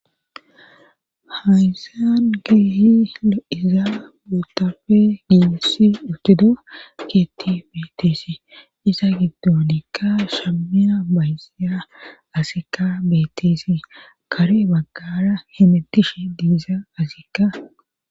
haysan keehi de7iza butafe giiissi utido keetti beeteesi iza giddonikka shamea baysia asika beeteesi kare baggara hemetishe diiza asika